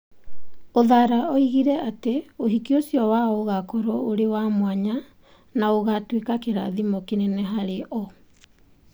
Uthara oigire ati ũhiki ũcio wao ũgaakorũo ũrĩ wa mwanya na ũgaatuĩka kĩrathimo kĩnene harĩ o.